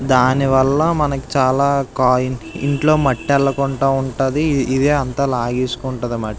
చాలా రకాల ఫిష్లు కనిపిస్తున్నాయి. ఇవన్నీ కోసుకొని తింటారు. పక్కనే రొయ్యలు ఉన్నాయి. క్రాబ్స్ ఉన్నాయి. ఇవన్నీ తింటారు.